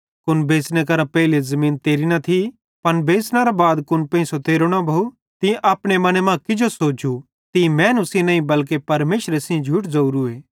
कुन बेच़ने करां पेइले ज़मीन तेरी न थी पन बेच़नेरां बाद कुन पेंइसो तेरो न भोव तीं अपने मने मां किजो सोचू तीं मैनू सेइं नईं बल्के परमेशरे सेइं झूठ ज़ोरूए